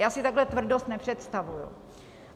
Já si takhle tvrdost nepředstavuji.